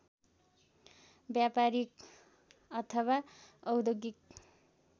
व्यापारीक अथवा औद्योगिक